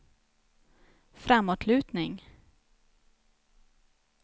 framåtlutning